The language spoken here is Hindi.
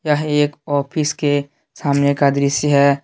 यह एक ऑफिस के सामने दृश्य का है।